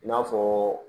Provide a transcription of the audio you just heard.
I n'a fɔ